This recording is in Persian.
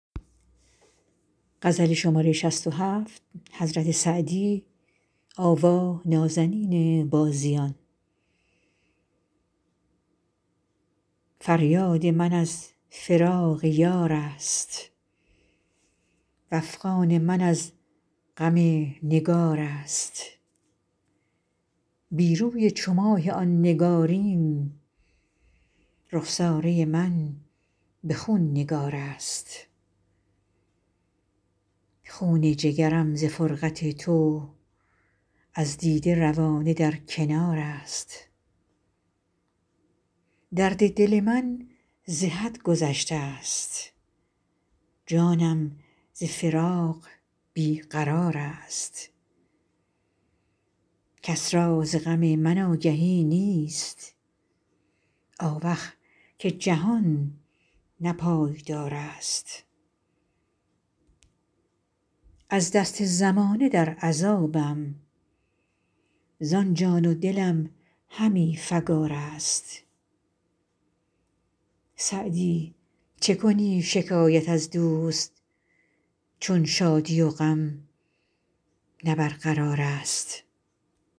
فریاد من از فراق یار است وافغان من از غم نگار است بی روی چو ماه آن نگارین رخساره من به خون نگار است خون جگرم ز فرقت تو از دیده روانه در کنار است درد دل من ز حد گذشته ست جانم ز فراق بی قرار است کس را ز غم من آگهی نیست آوخ که جهان نه پایدار است از دست زمانه در عذابم زان جان و دلم همی فکار است سعدی چه کنی شکایت از دوست چون شادی و غم نه برقرار است